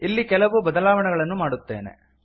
ಇಲ್ಲಿ ಕೆಲವು ಬದಲಾವಣೆ ಗಳನ್ನು ಮಾಡುತ್ತೇನೆ